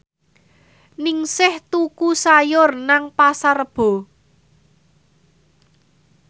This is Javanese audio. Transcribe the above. Ningsih tuku sayur nang Pasar Rebo